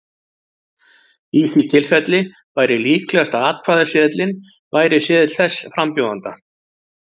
Í því tilfelli væri líklegast að atkvæðaseðilinn væri seðill þess frambjóðanda.